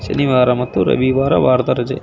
ಶನಿವಾರ ಮತ್ತು ರವಿವಾರ ವಾರದ ರಜೆ.